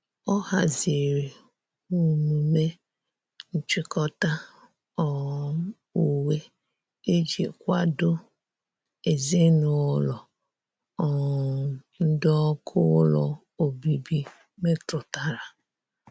ọ hazịrị umeme nchikota um uwe iji kwado ezinulo um ndi ọkụ ụlọ ọbibi metụtara.